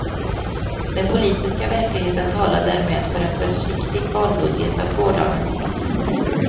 Den politiska verkligheten talar därmed för en försiktig valbudget av gårdagens snitt.